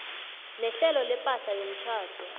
nehlelo lepahla yomtjhado